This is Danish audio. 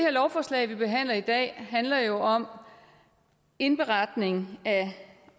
lovforslag vi behandler her i dag handler jo om indberetning